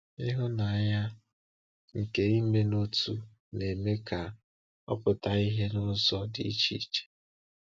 Ịhụnanya nke ime n’otu na-eme ka ọ pụta ìhè n’ụzọ dị iche iche.